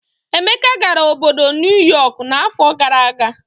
Emeka gara obodo Nuyọk n'afọ gara aga.